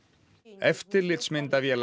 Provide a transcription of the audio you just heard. eftirlitsmyndavélar